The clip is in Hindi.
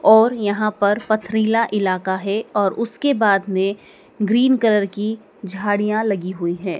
और यहां पर पथरीला इलाका है और उसके बाद में ग्रीन कलर की झाड़ियां लगी हुई हैं।